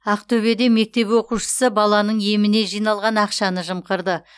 ақтөбеде мектеп оқушысы баланың еміне жиналған ақшаны жымқырды